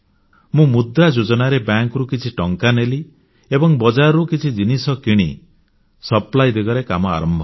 ମୁଁ ମୁଦ୍ରା ଯୋଜନାରେ ବ୍ୟାଙ୍କରୁ କିଛି ଟଙ୍କା ନେଲି ଏବଂ ବଜାରରୁ କିଛି ଜିନିଷ କିଣି ସପ୍ଲାଇ ଦିଗରେ କାମ ଆରମ୍ଭ କଲି